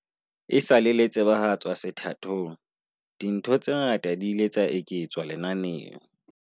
Esale le tsebahatswa sethathong, dintho tse ngata di ile tsa eketswa lenaneng.